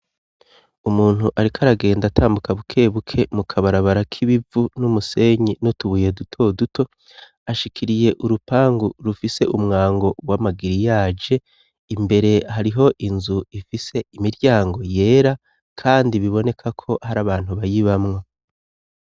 umuntu ariko aragenda atambuka bukebuke mu kabarabara k'ibivu n'umusenyi nutubuye duto duto ashikiriye urupangu rufise umwango w'amagiriyaje imbere hariho inzu ifise imiryango yera kandi biboneka ko hari abantu bayibamwo